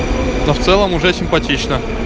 но в целом уже симпатично